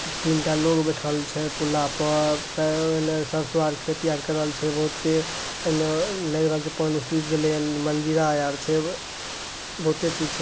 तीनटा लोग बैठएल छै पुल्ला पर एने सरसों आर के खेती आर करल छै। बहूते एने लेग रहल छै पानी सुख गेले ने मंजीरा आर छै ।